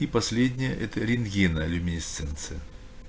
и последняя это рентгена люминесценция